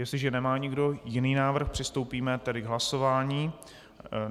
Jestliže nemá nikdo jiný návrh, přistoupíme tedy k hlasování.